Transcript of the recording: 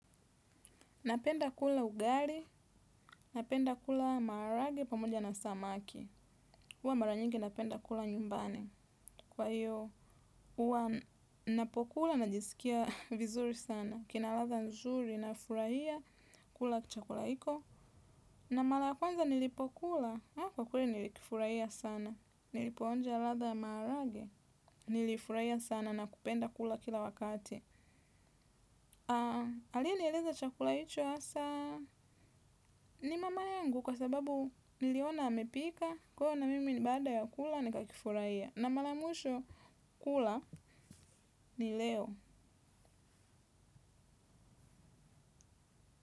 Napenda kula ugali, napenda kula maarage pamoja na samaki. Uwa mara nyingi napenda kula nyumbani. Kwa hiyo, uwa napokula najisikia vizuri sana. Kina latha nzuri nafurahia kulaichakula iko. Na mala ya kwanza nilipokula, kwa kweli nilikifurahia sana. Nilipoonja latha marage, nilifurahia sana na kupenda kula kila wakati. Alianieleza chakula hicho asa ni mama yangu kwa sababu niliona amepika. Kwa hiyo na mimi ni baada ya kula ni kakifuraia. Na mala mwisho kula ni leo.